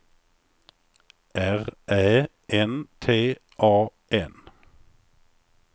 R Ä N T A N